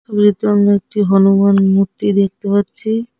আমারা একটি হনুমান মূর্তি দেখতে পাচ্ছি।